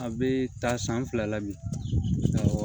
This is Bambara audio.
A bɛ taa san fila la bi